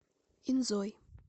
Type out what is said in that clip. инзой